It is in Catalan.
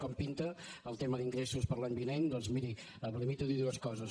com pinta el tema d’ingressos per a l’any vinent doncs miri em limito a dir dues coses